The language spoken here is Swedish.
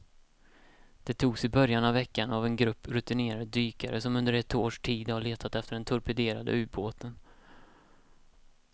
De togs i början av veckan av en grupp rutinerade dykare som under ett års tid har letat efter den torpederade ubåten.